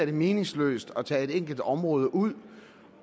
det meningsløst at tage et enkelt område ud